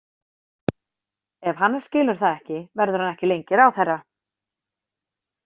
Ef Hannes skilur það ekki verður hann ekki lengi ráðherra.